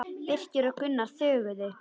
Birkir og Gunnar þögðu.